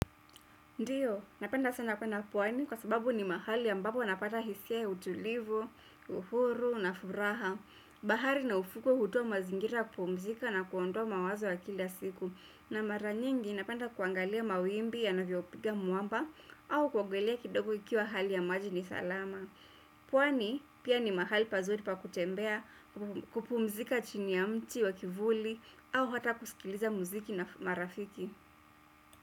Ndiyo, napenda sana kwenda pwani kwa sababu ni mahali ambapo napata hisia ya utulivu, uhuru na furaha. Bahari na ufukwe hutoa mazingira ya kupumzika na kuondoa mawazo ya kila siku na mara nyingi napenda kuangalia mawimbi yanavyopiga mwamba au kuogelea kidogo ikiwa hali ya maji ni salama. Pwani pia ni mahali pazuri pa kutembea kupumzika chini ya mti wa kivuli au hata kusikiliza muziki na marafiki.